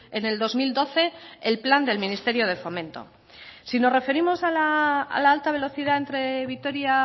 en el dos mil doce el plan del ministerio de fomento si nos referimos a la alta velocidad entre vitoria